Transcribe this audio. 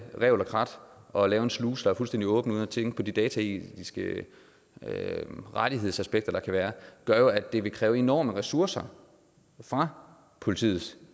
revl og krat og lave en sluse der er fuldstændig åben uden at tænke på de dataetiske rettighedsaspekter der kan være gør at det vil kræve enorme ressourcer fra politiets